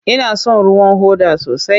Ina son ruwan hoda sosai.